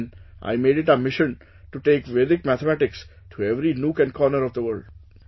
Since then I made it a mission to take Vedic Mathematics to every nook and corner of the world